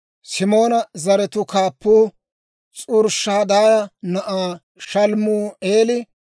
Simoona zaratuu kaappuu S'uriishadaaya na'aa Shalumi'eela;